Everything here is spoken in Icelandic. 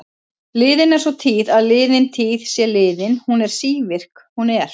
Liðin er sú tíð að liðin tíð sé liðin, hún er sívirk, hún er.